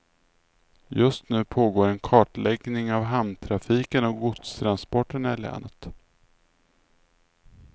Just nu pågår en kartläggning av hamntrafiken och godstransporterna i länet.